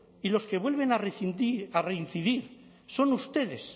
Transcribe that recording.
y los que vuelven a reincidir son ustedes